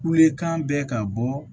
Kule kan bɛ ka bɔ